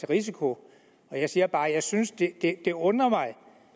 risiko og jeg siger bare at jeg synes det det undrer mig